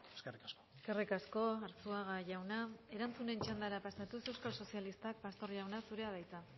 eskerrik asko eskerrik asko arzuaga jauna erantzunen txandara pasatuz euskal sozialistak pastor jauna zurea da hitza